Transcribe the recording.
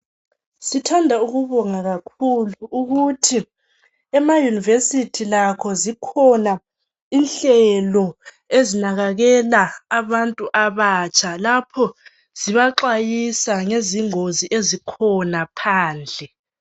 Sithanda ukubonga kakhulu ukuthi ema yunivesithi lakho zikhona inhlelo ezinakekela abantu abatsha lapho zibaxwayisa ngezingozi ezikhona phandle